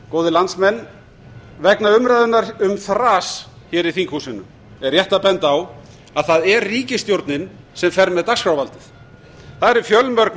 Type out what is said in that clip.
góðir landsmenn vegna umræðunnar um þras hér í þinghúsinu er rétt að benda á að á er ríkisstjórnin sem fer með dagskrárvaldið það eru fjölmörg